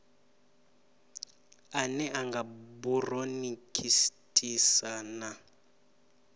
ane a nga buronikhitisi na